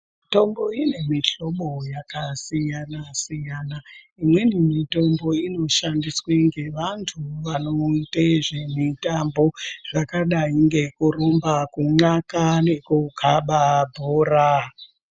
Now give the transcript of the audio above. Mitombo ine mihlobo yakasiyana-siyana imweni mitombo inoshandiswa vantu vanoita zvemitambo zvakadai ngekurumba nekukaba bhora.